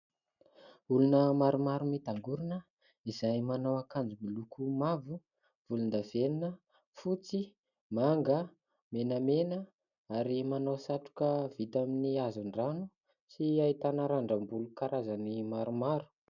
Olona maromaro mitangorona izay manao akanjo miloko mavo, volondavenona, fotsy, manga, menamena ary manao satroka vita amin'ny hazon-drano sy ahitana randrambolo karazany maromaro.